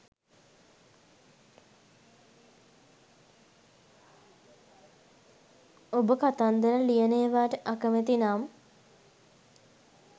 ඔබ කතන්දර ලියන ඒවාට අකමැති නම්